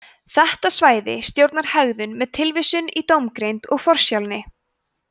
þetta svæði stjórnar hegðun með tilvísun í dómgreind og forsjálni